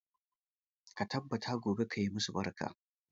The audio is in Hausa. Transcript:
Ka tabbata gobe ka yi masu barka.